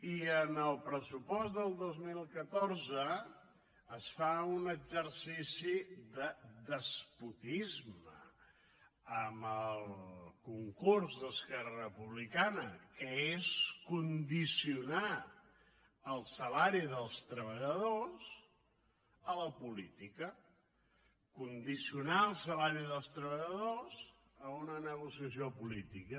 i en el pressupost del dos mil catorze es fa un exercici de despotisme amb el concurs d’esquerra republicana que és condicionar el salari dels treballadors a la política condicionar el salari dels treballadors a una negociació política